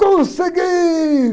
Consegui!